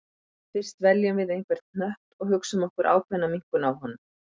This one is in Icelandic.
Fyrst veljum við einhvern hnött og hugsum okkur ákveðna minnkun á honum.